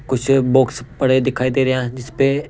कुछ बॉक्स पड़े दिखाई दे रहे हैं जिसपे--